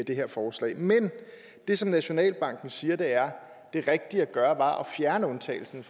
det her forslag men det som nationalbanken siger er at det rigtige at gøre var at fjerne undtagelsen